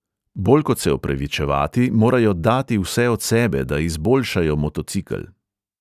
Bolj kot se opravičevati, morajo dati vse od sebe, da izboljšajo motocikel.